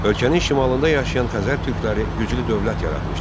Ölkənin şimalında yaşayan Xəzər türkləri güclü dövlət yaratmışdılar.